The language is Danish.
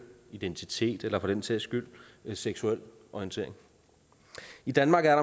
identitet eller for den sags skyld seksuel orientering i danmark er